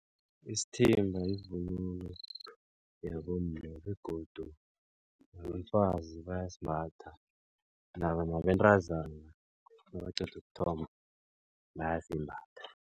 Isithimba yivunulo yabomma begodu nabafazi bayasimbatha nabentazana nabaqeda ukuthomba bayasimbatha.